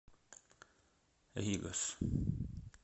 ригос